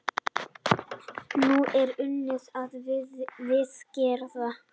Nú er unnið að viðgerð.